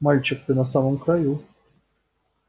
мальчик ты на самом краю